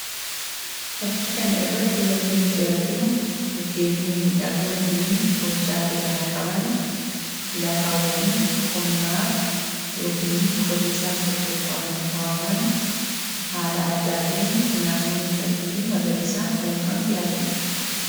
Fakkii kana irratti wanti nuti arginu mukeen mimmiidhagoofi hojjaa dheeraa qaban lafaawwan qonnaaf yookiin qotisaaf tottolfamanii kaawwaman haala addaatiin naannoo miidhagduufi magariisaan uwwifamte argina.